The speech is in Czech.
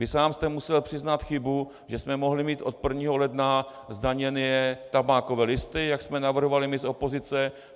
Vy sám jste musel přiznat chybu, že jsme mohli mít od 1. ledna zdaněné tabákové listy, jak jsme navrhovali my z opozice.